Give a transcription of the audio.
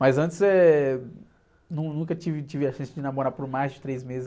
Mas antes, eh, nunca tive, tive a chance de namorar por mais de três meses.